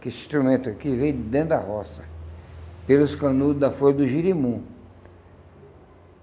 Que esse instrumento aqui veio de dentro da roça, pelos canudos da folha do jerimum.